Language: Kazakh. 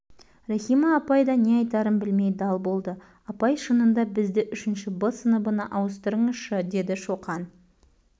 рахима апай да не айтарын білмей дал болды апай шынында бізді үшінші бсыныбына ауыстырыңызшы деді шоқан